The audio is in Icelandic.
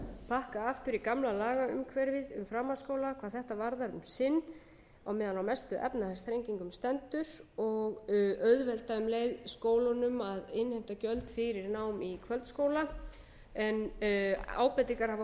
bakka aftur í gamla lagaumhverfið um framhaldsskóla hvað þetta varðar um sinn meðan mestu efnahagsþrengingarnar standa yfir og auðvelda um leið skólunum að innheimta gjöld fyrir nám í kvöldskóla en ábendingar hafa